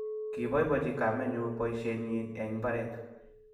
kiboiboichi kamenyu boisienyin eng' mbaret.